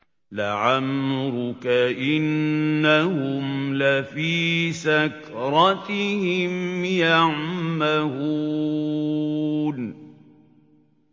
لَعَمْرُكَ إِنَّهُمْ لَفِي سَكْرَتِهِمْ يَعْمَهُونَ